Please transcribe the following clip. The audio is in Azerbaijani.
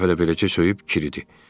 Bir-iki dəfə də beləcə söyüb kiridi.